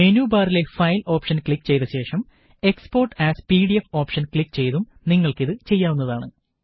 menu ബാറിലെ file option click ചെയ്ത ശേഷം export as PDF option click ചെയ്തും നിങ്ങള്ക്ക് ഇത് ചെയ്യാവുന്നതാണ്